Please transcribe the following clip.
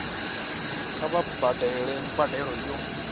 kha vha badele mbadelo yo